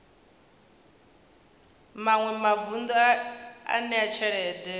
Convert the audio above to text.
maṅwe mavun ḓu a ṋea tshelede